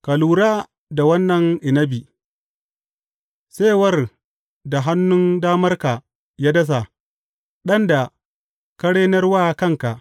Ka lura da wannan inabi, saiwar da hannun damarka ya dasa, ɗan da ka renar wa kanka.